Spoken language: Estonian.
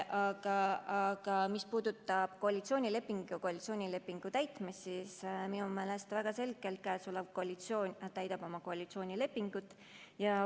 Aga mis puudutab koalitsioonilepingut ja koalitsioonilepingu täitmist, siis minu meelest väga selgelt praegune koalitsioon täidab koalitsioonilepingut.